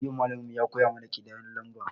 Yau malamin mu ya koya mana kidayen lamba